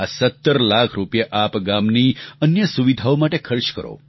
આ 17 લાખ રૂપિયા આપ ગામની અન્ય સુવિધાઓ માટે ખર્ચ કરો